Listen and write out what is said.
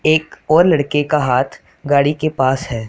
एक और लड़के का हाथ गाड़ी के पास है।